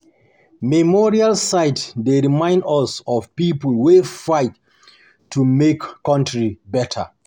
Memorial sites dey remind us of people wey fight to to make country better.